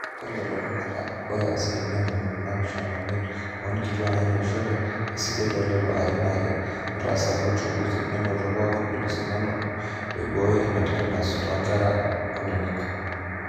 ore telulung'ata ore asilimia ntomoni naapishana oimiet oonkituak naatoishote esidai toolelo arin aare ootaasaki uchunguzi nenoto pooki ilo sindano loibooyo ina tetenus toonkera eini